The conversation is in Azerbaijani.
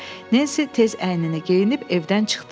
Nensi tez əynini geyinib evdən çıxdı.